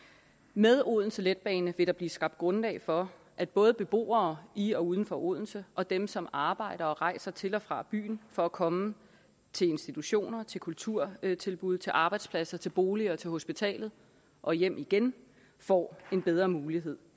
med odense letbane vil der blive skabt grundlag for at både beboere i og uden for odense og dem som arbejder og rejser til og fra byen for at komme til institutioner til kulturtilbud til arbejdspladser til boliger og til hospitalet og hjem igen får en bedre mulighed